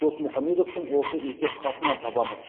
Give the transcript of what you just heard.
досмұхамедовтың осы есеп хатынан табамыз